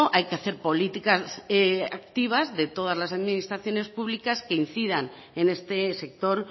hay que hacer políticas activas de todas las administraciones públicas que incidan en este sector